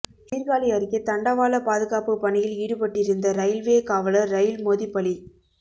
சீா்காழி அருகே தண்டவாள பாதுகாப்பு பணியில் ஈடுப்பட்டிருந்த இரயில்வே காவலா் ரயில் மோதி பலி